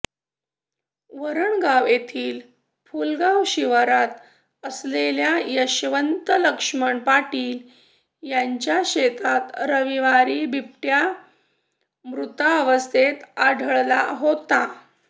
वरणगाव येथील फुलगाव शिवारात असलेल्या यशवंत लक्ष्मण पाटील यांच्या शेतात रविवार बिबट्या मृतावस्थेत आढळला होता